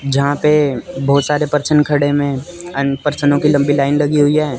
यहां पे बहुत सारे परछन खड़े में एंड परछनो की लंबी लाइन लगी हुई है।